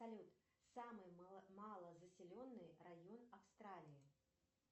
салют самый малозаселенный район австралии